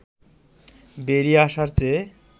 বেড়িয়ে আসার চেয়ে